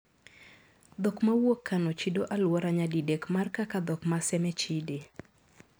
Dhok mawuok Kano chido aluora nyadidek mar kaka dhok ma Seme chide.